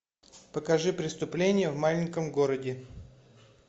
покажи преступление в маленьком городе